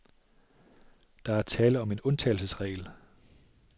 Der er tale om en undtagelsesregel.